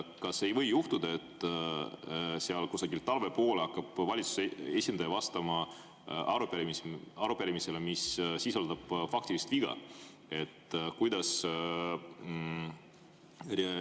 Kas ei või juhtuda, et seal kusagil talve poole hakkab valitsuse esindaja vastama arupärimisele, mis sisaldab faktilist viga?